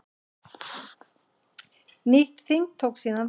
Nýtt þing tók síðan við.